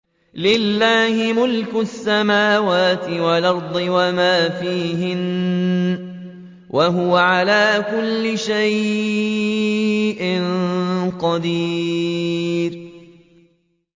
لِلَّهِ مُلْكُ السَّمَاوَاتِ وَالْأَرْضِ وَمَا فِيهِنَّ ۚ وَهُوَ عَلَىٰ كُلِّ شَيْءٍ قَدِيرٌ